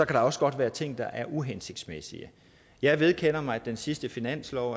der også godt være ting der er uhensigtsmæssige jeg vedkender mig at den sidste finanslov